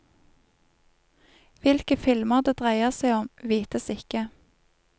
Hvilke filmer det dreier seg om, vites ikke.